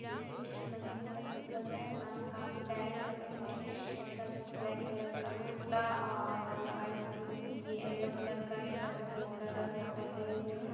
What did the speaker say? ये कोई मस्जिद का पिक लग रहा है जहा काफी बेलून लगे हुए है एक लड़का जो ब्लैक कलर का कुर्ता और वाईट ये यलो कलर का दुपट्टा ग्रीन कलर का दुपट्टा लिए हुआ है।